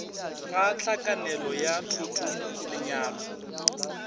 ga hlakanelo ya thoto lenyalo